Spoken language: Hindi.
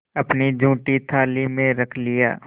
अपनी जूठी थाली में रख लिया